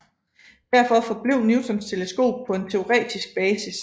Derfor forblev Newtons teleskop på en teoretisk basis